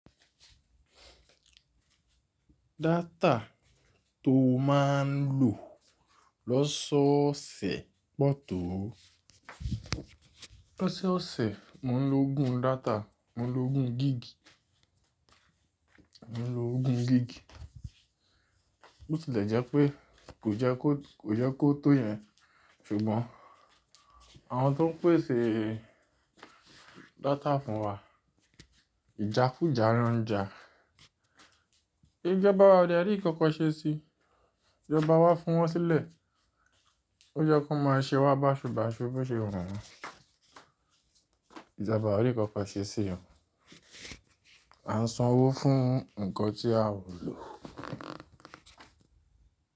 Data tó máa ń lò lọ́sọ́ọ̀sẹ̀ pọ̀ tó. Lọ́sọ́ọ̀sẹ̀ mò ń lo ogún data, mò ń lo ogún gig. Mò ń lo ogún gig. Bó ti lè jẹ́ pé kò jẹ́ kó, kò yẹ́ kó tó yẹn ṣùgbọ́n àwọn tó ń pèsè data fún wa ìjákùjá ńa ń jà. Ìjọba wa ó dẹ̀ rí ń kankan ṣe sí i. Ìjọba wá fi wọn sílẹ̀. Ó jẹ́ kán máa ṣe wá básubasu bó ṣe wù wọn Ìjọba ó rí ń kankan ṣe sí i. À ń san owó fún nǹkan tí a ò lò.